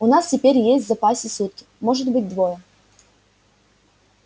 у нас теперь есть в запасе сутки может быть двое